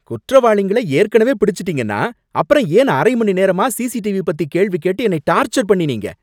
குற்றவாளிங்களை ஏற்கனவே பிடிச்சுட்டீங்கன்னா, அப்புறம் ஏன் அரைமணிநேரமா சிசிடிவி பத்தி கேள்வி கேட்டு என்னை டார்ச்சர் பண்ணினீங்க